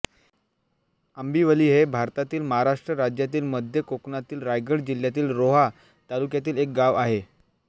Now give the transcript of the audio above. आंबिवली हे भारतातील महाराष्ट्र राज्यातील मध्य कोकणातील रायगड जिल्ह्यातील रोहा तालुक्यातील एक गाव आहे